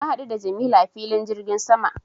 Na haɗu da jamilu a filin jirgin sama